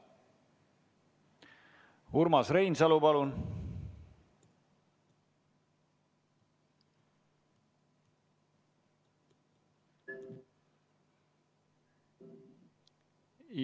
Urmas Reinsalu, palun!